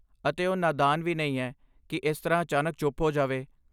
ਅਤੇ ਉਹ ਨਾਦਾਨ ਵੀ ਨਹੀਂ ਹੈ, ਕਿ ਇਸ ਤਰ੍ਹਾਂ ਅਚਾਨਕ ਚੁੱਪ ਹੋ ਜਾਵੇ।